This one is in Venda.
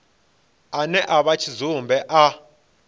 ane a vha tshidzumbe a